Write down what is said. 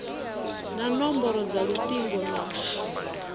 na nomboro dza lutingo na